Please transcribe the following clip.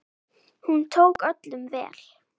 Hún tók öllum vel.